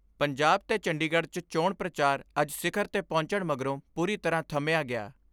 ਪੰਜਾਬ ਤੇ ਚੰਡੀਗੜ੍ਹ 'ਚ ਚੋਣ ਪ੍ਰਚਾਰ ਅੱਜ ਸਿਖਰ ਤੇ ਪਹੁੰਚਣ ਮਗਰੋਂ ਪੂਰੀ ਤਰ੍ਹਾਂ ਥੰਮਿਆ ਗਿਆ।